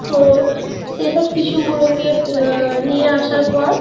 তো সেসব শিশু গুলো কে উম নিয়ে আসার পর